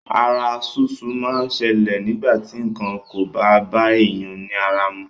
Ara súsú máa ń ṣẹlè nígbà ti nǹkan kò bá bá èèyàn ní ara mu.